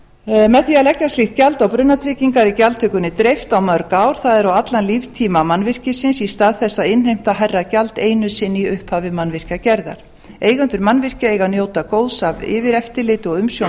með því að leggja slíkt gjald á brunatryggingar er gjaldtökunni dreift á mörg ár það er á allan líftíma mannvirkisins í stað þess að innheimta hærra gjald einu sinni í upphafi mannvirkjagerðar eigendur mannvirkja eiga að njóta góðs af yfireftirliti og umsjón